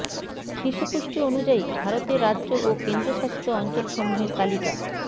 শিশু পুষ্টি অনুযায়ী ভারতের রাজ্য ও কেন্দ্রশাসিত অঞ্চলসমূহের তালিকা